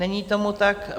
Není tomu tak.